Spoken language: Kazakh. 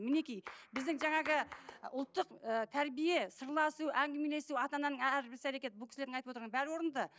мінекей біздің жаңағы ұлттық ы тәрбие сырласу әңгімелесу ана ананың әрбір іс әрекеті бұл кісілердің айтып отырғаны бәрі орынды